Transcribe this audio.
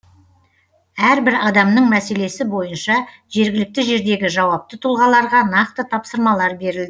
әрбір адамның мәселесі бойынша жергілікті жердегі жауапты тұлғаларға нақты тапсырмалар берілді